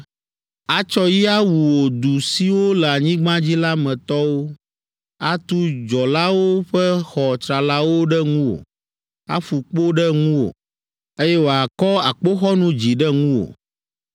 Atsɔ yi awu wò du siwo le anyigba dzi la me tɔwo, atu dzɔlawo ƒe xɔ tsralawo ɖe ŋuwò, aƒu kpo ɖe ŋuwò, eye wòakɔ akpoxɔnu dzi ɖe ŋuwò.